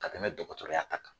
Ka tɛmɛ dɔgɔtɔrɔya ta kan.